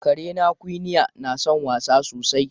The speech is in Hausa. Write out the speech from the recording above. Karena Quinnie na son wasa sosai.